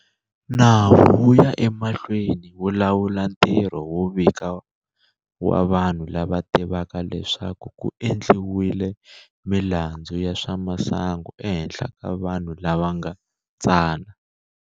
Nawu wu ya emahlweni wu lawula ntirho wo vika wa vanhu lava tivaka leswaku ku endliwile milandzu ya swa masangu ehenhla ka vanhu lava nga tsana.